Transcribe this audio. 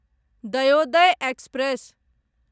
Dayodaya express